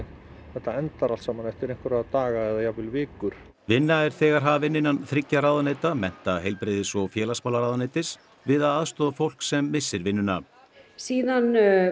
þetta endar allt saman eftir einhverja daga eða einhverjar vikur vinna er þegar hafin innan þriggja ráðuneyta mennta heilbrigðis og félagsmálaráðuneytis við að aðstoða fólk sem missir vinnuna síðan